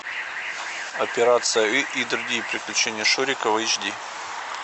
операция ы и другие приключения шурика в эйч ди